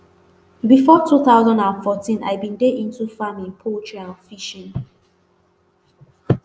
before two thousand and fourteen i bin dey into farming poultry and fishing